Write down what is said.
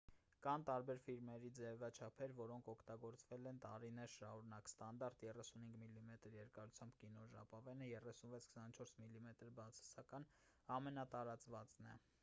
կան տարբեր ֆիլմերի ձևաչափեր որոնք օգտագործվել են տարիներ շարունակ: ստանդարտ 35 մմ երկարությամբ կինոժապավենը 36՝ 24 մմ բացասական ամենատարածվածն է: